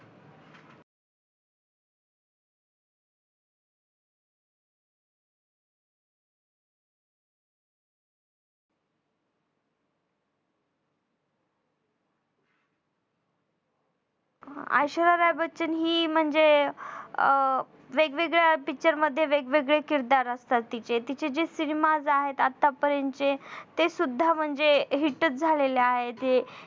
ऐश्वर्या राय बच्चन हि म्हणजे अं वेगवेगळ्या Picture मध्ये वेगवेगळे किरदार असतात तिचे जे cinema ज आहेत आतापर्यंतचे ते सुद्धा म्हणजे hit च झालेले आहेत.